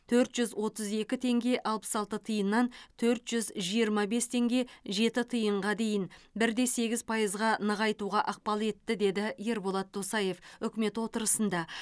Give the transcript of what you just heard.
төрт жүз отыз екі теңге алпыс алты тиыннан төрт жүз жиырма бес теңге жеті тиынға дейін бір де сегіз пайызға нығайтуға ықпал етті деді ерболат досаев үкімет отырысында